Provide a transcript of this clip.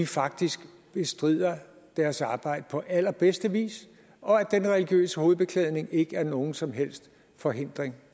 faktisk bestrider deres arbejde på allerbedste vis og at den religiøse hovedbeklædning ikke er nogen som helst forhindring